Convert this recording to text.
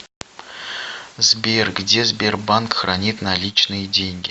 сбер где сбербанк хранит наличные деньги